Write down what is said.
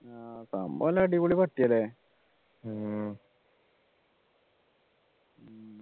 ആഹ് സംഭവം നല്ല അടിപൊളി പട്ടിയാലേ